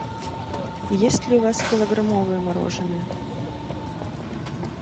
есть ли у вас килограммовое мороженое